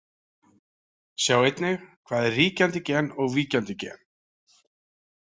Sjá einnig: Hvað er ríkjandi gen og víkjandi gen?